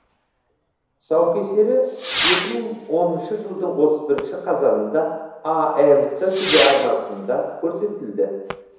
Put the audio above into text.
тұсаукесері екі мың оныншы жылдың отыз бірінші қазанында амс телеарнасында көрсетілді